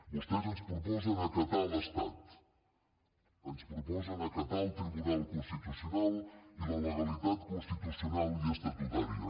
vostès ens proposen acatar l’estat ens proposen acatar el tribunal constitucional i la legalitat constitucional i estatutària